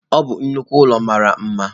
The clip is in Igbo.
Ọ bụ nnukwu ụlọ mara mma